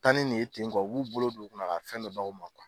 Taa ni nin' ye ten ,u b'u bolo don u kunna ka fɛn dɔ b'aw ma